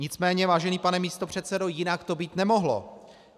Nicméně, vážený pane místopředsedo, jinak to být nemohlo.